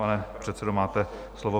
Pane předsedo, máte slovo.